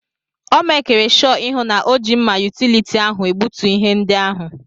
Ọ mekiri shọ ihụ na ọ ji mma yutility ahụ egbutu ihe ndị ahụ.